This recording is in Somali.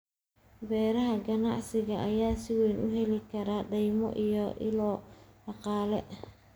Beeraha ganacsiga ayaa si weyn u heli kara deymo iyo ilo dhaqaale.